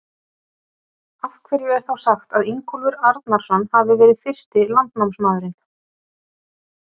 Af hverju er þá sagt að Ingólfur Arnarson hafi verið fyrsti landnámsmaðurinn?